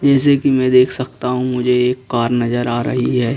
जैसे कि मैं देख सकता हूं मुझे एक कार नजर आ रही है।